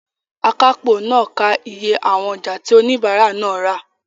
Akápò náà ń ka iye àwọn ọjà tí oníbàárà náà rà.